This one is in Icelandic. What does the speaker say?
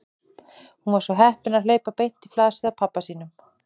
Hún var svo heppin að hlaupa beint í flasið á pabba sínum.